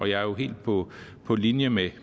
jeg er jo helt på på linje med